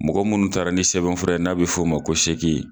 Mɔgɔ munnu taara ni sɛbɛnfura ye n'a bɛ f'o ma ko seegin.